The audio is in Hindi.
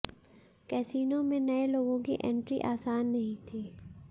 कैसिनो में नए लोगों की एंट्री आसान नहीं थी